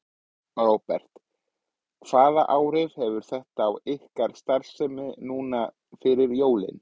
Róbert: Hvaða áhrif hefur þetta á ykkar starfsemi núna fyrir jólin?